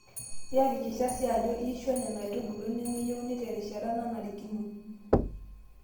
Iyakikisha sii Ajo iishwa Nena aitubulu nemeyieuni terishata nanarikino.